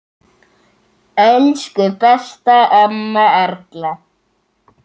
Elsku besta amma Erla.